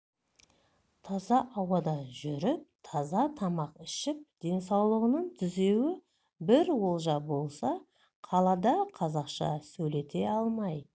таза ауада жүріп таза тамақ ішіп денсаулығын түзеуі бір олжа болса қалада қазақша сөйлете алмай